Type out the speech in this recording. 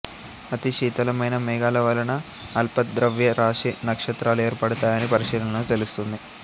అతి శీతలమైన మేఘాల వలన అల్పద్రవ్యరాశి నక్షత్రాలు ఏర్పడతాయని పరిశీలనల్లో తెలుస్తోంది